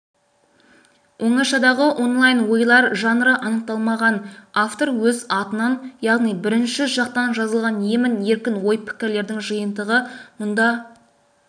оңашадағы онлайн ойлар жанры анықталмаған автор өз атынан яғни бірінші жақтан жазылған емін-еркін ой-пікірлердің жиынтығы мұнда